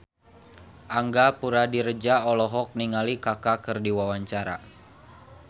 Angga Puradiredja olohok ningali Kaka keur diwawancara